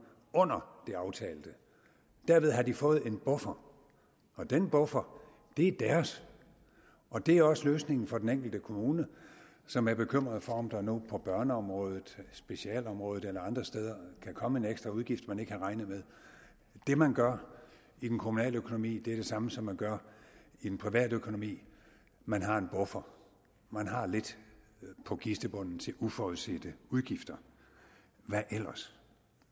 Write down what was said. under det aftalte derved har de fået en buffer og den buffer er deres det er også løsningen for den enkelte kommune som er bekymret for om der nu på børneområdet specialområdet eller andre steder kan komme en ekstra udgift man ikke havde regnet med det man gør i den kommunale økonomi er det samme som man gør i den private økonomi man har en buffer man har lidt på kistebunden til uforudsete udgifter hvad ellers